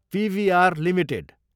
PVR Ltd